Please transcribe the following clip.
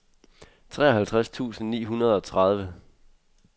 treoghalvtreds tusind ni hundrede og tredive